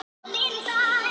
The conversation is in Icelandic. Hann fann sína trú.